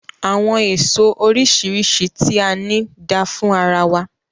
Àwọn èso oríṣiríṣi ti a ni da fún ara wa.